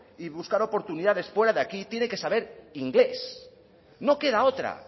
y buscar oportunidades fuera de aquí tiene que saber inglés no queda otra